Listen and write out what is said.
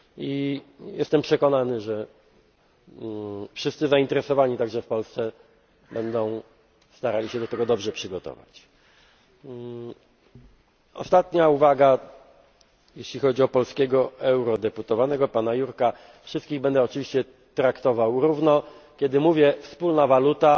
Jean Claude'a Junckera. I jestem przekonany, że wszyscy zainteresowani, także w Polsce, będą starali się do tego dobrze przygotować. Ostatnia uwaga, jeśli chodzi o polskiego eurodeputowanego, pana Jurka wszystkich będę oczywiście traktował równo.